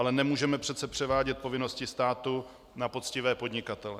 Ale nemůžeme přece převádět povinnosti státu na poctivé podnikatele.